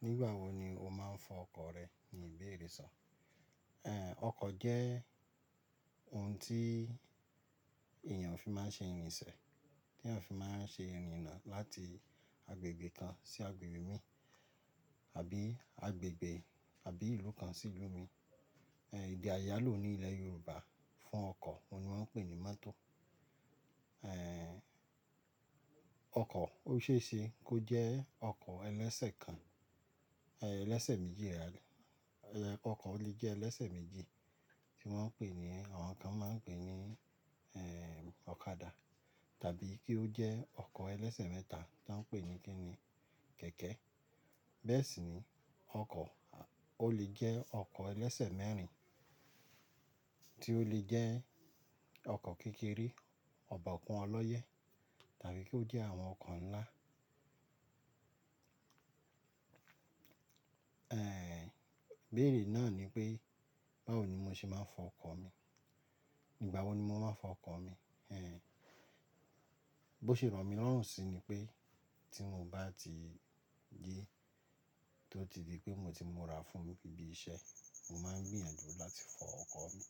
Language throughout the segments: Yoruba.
Nígbà wo ni o máa ń fọ ọkọ̀ rẹ? Ni ìbéèrè sọ. Ẹ̀, ọkọ̀ jẹ́ ohun tí èèyàn fi máa ń ṣe ìrìnsẹ̀, tí èèyàn fi máa ń ṣe ìrìnnà láti agbègbè kan sí agbègbè mi, àbí agbègbè àbí ìlú kan sí ìlú mi. Ẹ̀, èdè àyálò ní ilẹ̀ Yorùbá fún ọkọ̀ wọ́n ni wọ́n ń pè ní mọ́tò. Ẹ̀, ọkọ̀ ó ṣe é ṣe kó jẹ́ ọkọ̀ ẹlẹ́sẹ̀ kan, ẹ́ ẹlẹ́sẹ̀ méjì rather. Ẹ̀, ọkọ̀ lè jẹ́ ẹlẹ́sẹ̀ méjì tí wọ́n ń pè ní, àwọn kan máa ń pè ní, ẹ́ ọ̀kadà, tàbí kí ó jẹ́ ọkọ̀ ẹlẹ́sẹ̀ mẹ́ta tí wọ́n ń pè ní kí ni kẹ̀kẹ́. Bẹ́ẹ̀ sì ni ọkọ̀ ó lè jẹ́ ọkọ̀ ẹlẹ́sẹ̀ mẹ́rin tí ó lè jẹ́ ọkọ̀ kékeré, ọ̀bọ̀kún ọlọ́yẹ́, tàbí kí ó jẹ́ àwọn ọkọ̀ ńlá. Ẹ̀, ibéèrè náà ni pé báwo ni mo ṣe máa ń fọ ọkọ̀ mi, ígbà wo ni mo máa ń fọ ọkọ̀ mi? Ẹ̀, bó ṣe ràn mí lorun sí ni pé tí mo bá ti ji tó ti di pé mo ti n múra fún ibí iṣẹ́, mo máa ń gbìyànjú láti fọ ọkọ̀ mi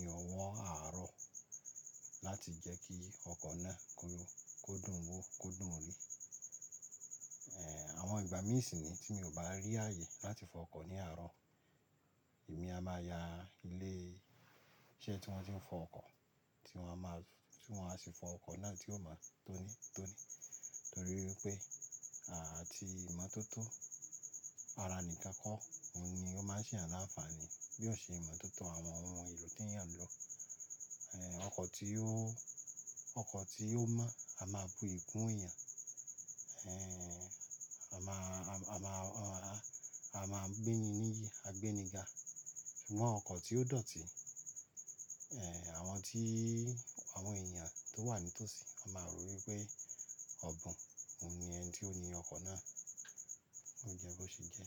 ní ọwọ́ àárọ̀ láti jẹ́ kí ọkọ̀ náà kó lo, kó dùn un wò, kó dùn ún rí. Ẹ̀, àwọn ìgbà mìíràn sì ni tí mo ò bá rí ààyè láti fọ ọkọ̀ ní àárọ̀, èmi a máa ya ilé iṣẹ́ tí wọ́n ti ń fọ ọkọ̀ tí wọ́n a máa, tí wọ́n a sì fọ ọkọ̀ náà tí ó máa tóní tóní. Nítorí pé àti ìmọ̀tótó ara nìkan kọ́, òun ni ó máa ń ṣe àlàáfààní bí ó ṣe ìmọ̀tótó àwọn ohun èlò tí èèyàn ń lò. Ẹ̀, ọkọ̀ tí ó, ọkọ̀ tí ó mọ́ a máa bu iyi kunyan. Ẹ̀, a máa, a máa, a máa gbé ni níyì, a gbé ni ga. Ṣùgbọ́n ọkọ̀ tí ó dọ̀tí, ẹ̀ àwọn tí àwọn èèyàn tó wà ní tòsí a máa rò wípé ọ̀bùn òun ni ẹ́ńi tí ó ni ọkọ̀ náà, ó jẹ́ bó ṣe jẹ́.